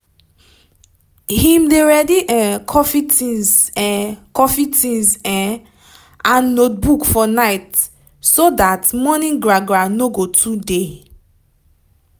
him dey ready um coffee tinz um coffee tinz um and notebook for night so that morning gra gra no go too dey